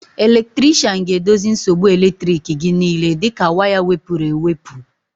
Elektrikshan ga-edozi nsogbu elektriki gị niile dịka waya wepụrụ ewepụ